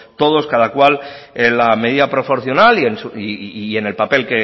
todos cada cual en la medida proporcional y en el papel